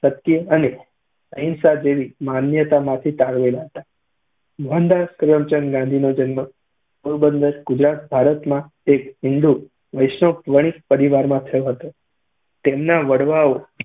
સત્ય અને અહિંસા જેવી માન્યતામાંથી તારવેલા હતા. મોહનદાસ કરમચંદ ગાંધીનો જન્મ પોરબંદર ગુજરાત, ભારતમાં એક હિંદુ વૈષ્ણવ વણિક પરિવારમાં થયો હતો. તેમના વડવાઓ